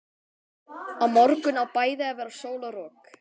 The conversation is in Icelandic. Á morgun á bæði að vera sól og rok.